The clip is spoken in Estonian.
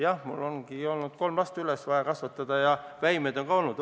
Jah, mul on olnud vaja üles kasvatada kolm last ja mul on ka väimehed.